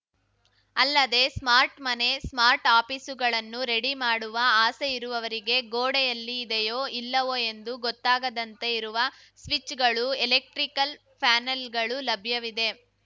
ಅಲ್ಲದೇ ಸ್ಮಾರ್ಟ್‌ ಮನೆ ಸ್ಮಾರ್ಟ್‌ ಆಫೀಸುಗಳನ್ನು ರೆಡಿ ಮಾಡುವ ಆಸೆ ಇರುವವರಿಗೆ ಗೋಡೆಯಲ್ಲಿ ಇದೆಯೋ ಇಲ್ಲವೋ ಎಂದು ಗೊತ್ತಾಗದಂತೆ ಇರುವ ಸ್ವಿಚ್‌ಗಳು ಎಲೆಕ್ಟ್ರಿಕಲ್ ಪ್ಯಾನೆಲ್‌ಗಳು ಲಭ್ಯವಿದೆ